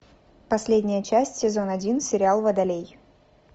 последняя часть сезон один сериал водолей